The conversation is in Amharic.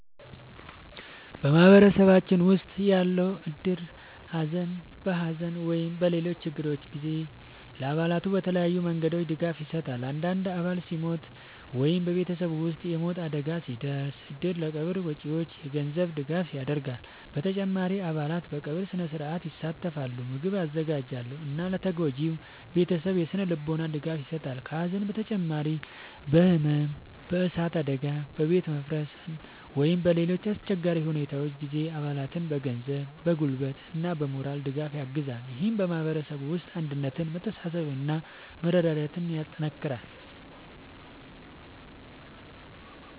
በማህበረሰባችን ውስጥ ያለው እድር በሐዘን ወይም በሌሎች ችግሮች ጊዜ ለአባላቱ በተለያዩ መንገዶች ድጋፍ ይሰጣል። አንድ አባል ሲሞት ወይም በቤተሰቡ ውስጥ የሞት አደጋ ሲደርስ፣ እድሩ ለቀብር ወጪዎች የገንዘብ ድጋፍ ያደርጋል። በተጨማሪም አባላት በቀብር ሥነ-ሥርዓት ይሳተፋሉ፣ ምግብ ያዘጋጃሉ እና ለተጎጂው ቤተሰብ የሥነ-ልቦና ድጋፍ ይሰጣሉ። ከሐዘን በተጨማሪ በሕመም፣ በእሳት አደጋ፣ በቤት መፍረስ ወይም በሌሎች አስቸጋሪ ሁኔታዎች ጊዜም አባላቱን በገንዘብ፣ በጉልበት እና በሞራል ድጋፍ ያግዛል። ይህም በማህበረሰቡ ውስጥ አንድነትን፣ መተሳሰብን እና መረዳዳትን ያጠናክራል።